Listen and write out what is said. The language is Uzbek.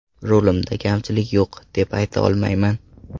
Rolimda kamchilik yo‘q, deb ayta olmayman.